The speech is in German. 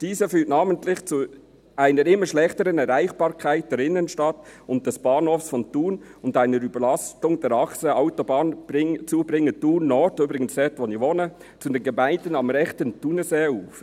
Dies führte namentlich zu einer immer schlechteren Erreichbarkeit der Innenstadt und des Bahnhofs von Thun und einer Überlastung der Achse Autobahnzubringer Thun Nord» – übrigens dort, wo ich wohne – «zu den Gemeinden am rechten Thunerseeufer.